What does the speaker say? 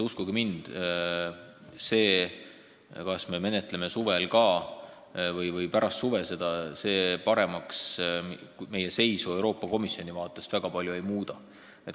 Uskuge mind, see, kas me menetleme seda eelnõu ka suvel või pärast suve, meie seisu Euroopa Komisjoni vaatest väga palju paremaks ei muuda.